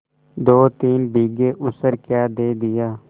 दोतीन बीघे ऊसर क्या दे दिया